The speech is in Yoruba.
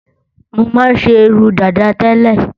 Mọ máa ń ṣe irun dàda tẹ́lẹ̀